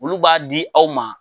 Olu b'a di aw ma